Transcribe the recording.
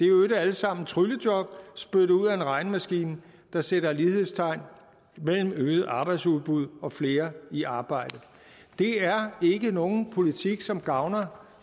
øvrigt alle sammen tryllejob spyttet ud af en regnemaskine der sætter lighedstegn mellem øget arbejdsudbud og flere i arbejde det er ikke nogen politik som gavner